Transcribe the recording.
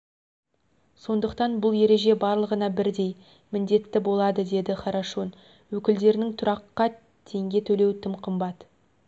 сондықтан бұл ереже барлығына бірдей міндетті болады деді хорошун өкілдерінің тұраққа теңге төлеу тым қымбат